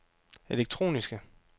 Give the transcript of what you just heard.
elektroniske